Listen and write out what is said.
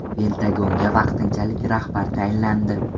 Pentagonga vaqtinchalik rahbar tayinlandi.